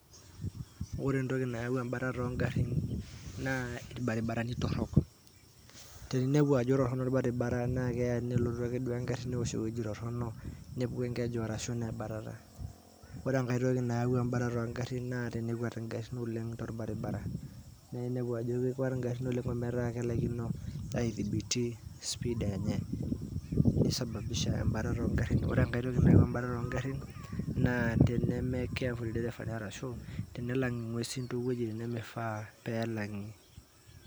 Ore entoki nayaua embatata ongarin naa irbaribarani torok ,inepu ajo ketoronok orbaribara nelotu ake duo engari nepuki enkeju arashu nebatata nitoki ake ore embatata ongarin tenekwet engari inepu ajo kekwet ngarin torbaribara ometaa kalakino aithibiti speed enye ni sababisha embatata ongarin ,ore enkai toki nisababisha embatata ongarin naa nemifaa peelang